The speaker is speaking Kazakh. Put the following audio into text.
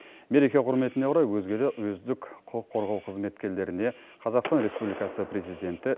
мереке құрметіне орай өзге де үздік құқық қорғау қызметкерлеріне қазақстан республикасы президенті